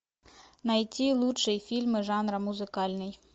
найти лучшие фильмы жанра музыкальный